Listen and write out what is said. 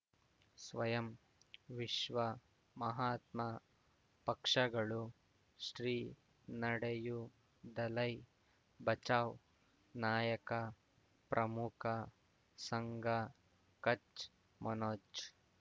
ಸ್ವಯಂ ವಿಶ್ವ ಮಹಾತ್ಮ ಪಕ್ಷಗಳು ಶ್ರೀ ನಡೆಯೂ ದಲೈ ಬಚೌ ನಾಯಕ ಪ್ರಮುಖ ಸಂಘ ಕಚ್ ಮನೋಜ್